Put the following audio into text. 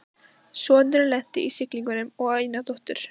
Sonurinn lenti í siglingum og á eina dóttur